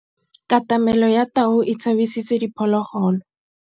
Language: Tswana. Katamêlô ya tau e tshabisitse diphôlôgôlô.